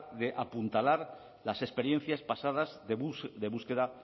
de apuntalar las experiencias pasadas de búsqueda